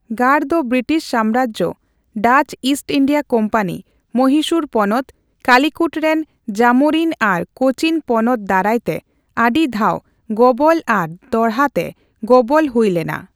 ᱜᱟᱲ ᱫᱚ ᱵᱨᱤᱴᱤᱥ ᱥᱟᱢᱨᱟᱡᱽ, Dutch East India company, Mysore ᱯᱚᱱᱚᱛ, ᱠᱟᱞᱤᱠᱚᱴ ᱨᱮᱱ ᱡᱟᱢᱳᱨᱤᱱ ᱟᱨ ᱠᱳᱪᱤᱱ ᱯᱚᱱᱚᱛ ᱫᱟᱨᱟᱭᱛᱮ ᱟᱹᱰᱤ ᱫᱷᱟᱣ ᱜᱚᱵᱚᱞ ᱟᱨ ᱫᱚᱦᱲᱟᱛᱮ ᱜᱚᱵᱚᱞ ᱦᱩᱭ ᱞᱮᱱᱟ ᱾